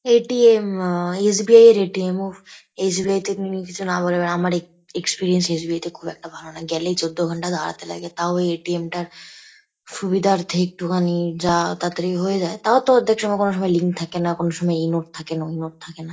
এ .T .M আ S .B .I - এর A .T .M . উফ এস .বি .এই - তে কোনো কিছু না বলে বেড়ায় আমার এক এক্সপিরিয়েন্স এস .বি .এই - তে খুব একটা ভালো না গেলেই চোদ্দ ঘন্টা দাঁড়াতে লাগে। তাও ওই এ .টি .এম - টার সুবিধার্থে একটুখানি যা তাড়াতাড়ি হয়ে যায় তাও তো অর্ধেক সময় কোনো সময় লিংক থাকে না কোনো সময় এই নোট থাকে না ওই নোট থাকে না।